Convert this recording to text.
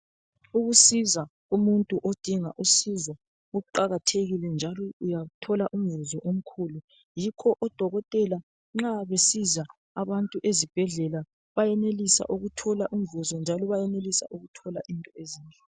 Ukusiza umuntu odinga usizo kuqakathekile, njalo uyathola umvuzo omkhulu. Yikho odokotela nxa besiza abantu ezibhedlela, bayanelisa ukuthola umvuzo njalo bayenelisa ukuthola thola umvuzo , njalo bayanelusa ukuthola into ezinhle.